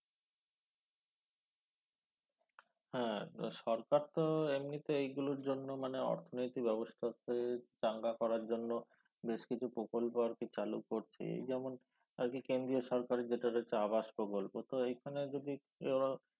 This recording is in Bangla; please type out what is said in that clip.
হ্যা সরকারতো এমনিতেই এগুলোর জন্য মানে অর্থনৈতিক ব্যবস্থাকে চাঙ্গা করার জন্য বেশকিছু প্রকল্প আরকি চালু করছেই এই যেমন আরকি কেন্দ্রীয় সরকারের যেটা রয়েছে আবাস প্রকল্প তো এইখানে যদি